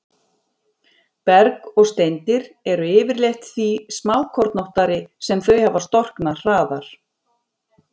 Berg og steindir eru yfirleitt því smákornóttari sem þau hafa storknað hraðar.